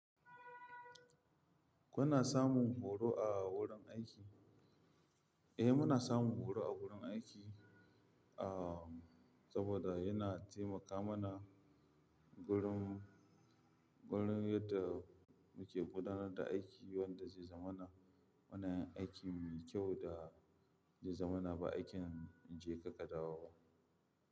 Kuna samun horo a wurin aiki? Eh, muna samun horo a wurin aiki, ah, saboda yana taimaka mana wurin, wurin yadda muke gudanar da aiki wanda zai zamana muna yin aikin mai kyau da zai zamana ba aikin jeka-kadawo ba.